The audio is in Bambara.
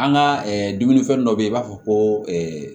An ka dumuni fɛn dɔ bɛ yen i b'a fɔ ko